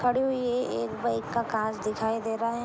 खड़ी हुई है एक बाइक का काॅंच दिखाई दे रहा है।